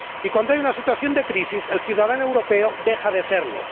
Y cuando hay una situación de crisis el ciudadano europeo deja de serlo.